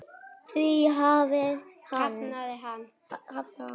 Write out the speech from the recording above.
Því hafnaði hann.